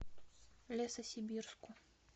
лесосибирску